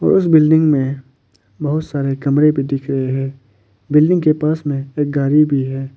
और इस बिल्डिंग में बहुत सारे कमरे भी दिख रहे हैं बिल्डिंग के पास में एक गाड़ी भी है।